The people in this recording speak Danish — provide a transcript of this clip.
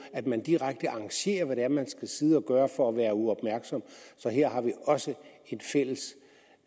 at man direkte arrangerer hvad man skal sidde og lave for at være uopmærksom så her har vi også